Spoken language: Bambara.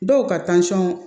Dɔw ka